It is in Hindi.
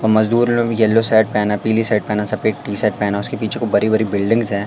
और मजदूर लोग भी येलो शर्ट पहना पीली शर्ट पहना सफेद टी शर्ट पहना उसके पीछे को बड़ी बड़ी बिल्डिंग्स हैं।